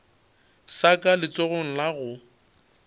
sa ka letsogong la go